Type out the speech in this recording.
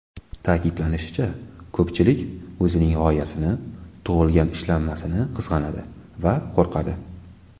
Ta’kidlanishicha, ko‘pchilik o‘zining g‘oyasini, tug‘ilgan ishlanmasini qizg‘anadi va qo‘rqadi.